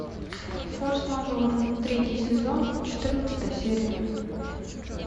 форс мажоры третий сезон четырнадцатая серия